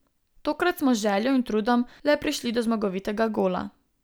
Tokrat smo z željo in trudom le prišli do zmagovitega gola.